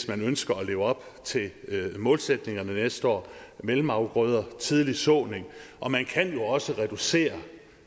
man ønsker at leve op til målsætningerne næste år mellemafgrøder tidlig såning og man kan også reducere